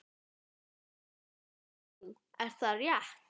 Hvað segir þú, er það rétt?